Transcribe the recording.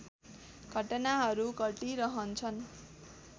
घटनाहरू घटिरहन्छन्